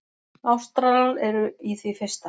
Ástralar eru í því fyrsta.